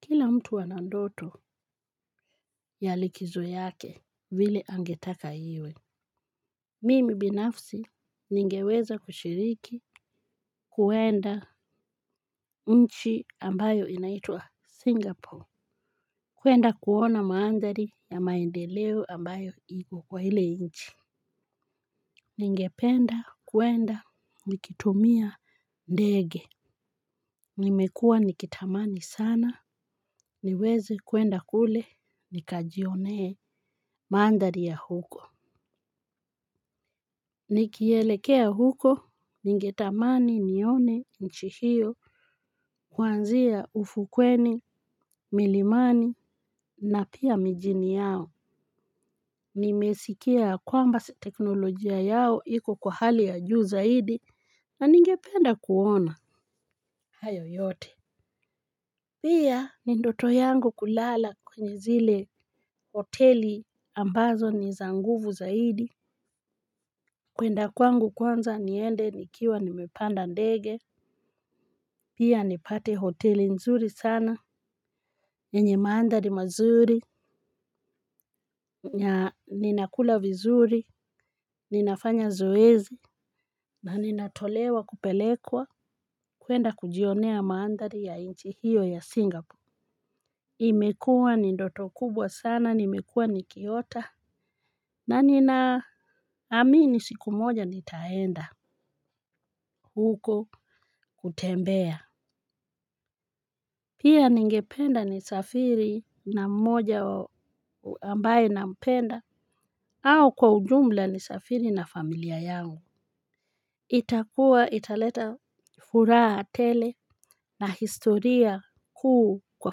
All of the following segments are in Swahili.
Kila mtu ana ndoto ya likizo yake vile angetaka iwe. Mimi binafsi ningeweza kushiriki kwenda nchi ambayo inaitwa Singapore. Kwenda kuona mandhari ya maendeleo ambayo iko kwa ile nchi. Ningependa kwenda nikitumia ndege. Nimekua nikitamani sana niweze kwenda kule nikajionee mandhari ya huko. Nikielekea huko, ningetamani nione nchi hiyo, kuanzia ufukweni, milimani, na pia mijini yao. Nimesikia kwamba teknolojia yao iko kwa hali ya juu zaidi, na ningependa kuona. Hayo yote. Pia ni ndoto yangu kulala kwenye zile hoteli ambazo ni za nguvu zaidi. Kwenda kwangu kwanza niende nikiwa nimepanda ndege. Pia nipate hoteli nzuri sana. Yenye mandhari mazuri na ninakula vizuri. Ninafanya zoezi. Na ninatolewa kupelekwa kwenda kujionea mandhari ya nchi hiyo ya Singapore. Imekua ni ndoto kubwa sana. Nimekua nikiota. Na ninaamini siku moja nitaenda huko kutembea. Pia ningependa nisafiri na mmoja ambaye nampenda au kwa ujumla nisafiri na familia yangu. Itakuwa italeta furaha tele na historia kuu kwa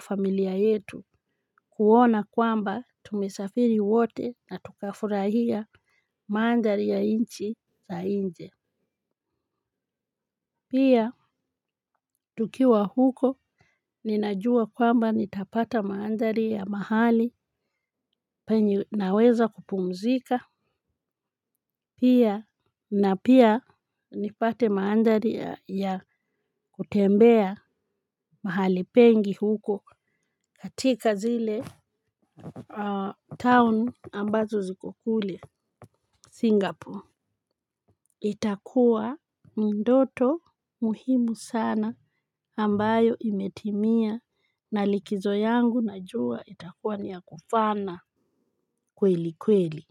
familia yetu. Kuona kwamba tumesafiri wote na tukafurahia mandhari ya nchi za nje. Pia, tukiwa huko, ninajua kwamba nitapata mandhari ya mahali penye naweza kupumzika. Pia, na pia, nipate mandhari ya kutembea mahali pengi huko katika zile town ambazo ziko kule Singapore. Itakuwa ndoto muhimu sana ambayo imetimia na likizo yangu najua itakuwa niya kufana kweli kweli.